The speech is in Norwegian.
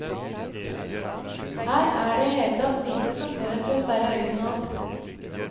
Her er i det hele tatt lite som får en til å sperre øynene opp.